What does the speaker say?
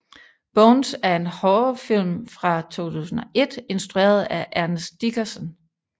Bones er en horrorfilm fra 2001 instrueret af Ernest Dickerson